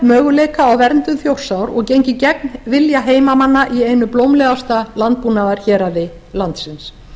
möguleika á verndun þjórsár og gengið gegn vilja heimamanna í einu blómlegasta landbúnaðarhéraði landsins